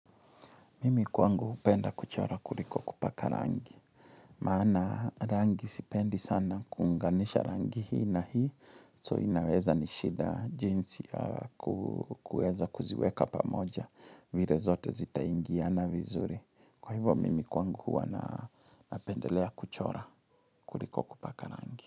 Mimi kwangu hupenda kuchora kuliko kupaka rangi. Maana rangi sipendi sana kunganisha rangi hii na hii. So inaweza nishida jinsi kueza kuziweka pamoja vire zote zitaingia na vizuri. Kwa hivyo mimi kwangu huwa napendelea kuchora kuliko kupaka rangi.